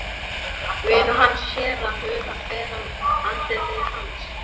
Vinur hans sér að hula fer af andliti hans.